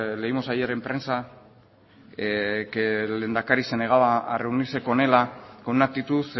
leímos ayer en prensa que el lehendakari se negaba a reunirse con ela con una actitud